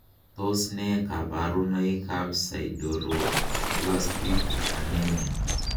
Tos nee koborunoikab sideroblastic anemia?